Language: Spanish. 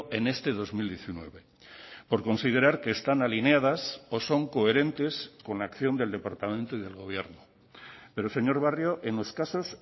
en este dos mil diecinueve por considerar que están alineadas o son coherentes con la acción del departamento y del gobierno pero señor barrio en los casos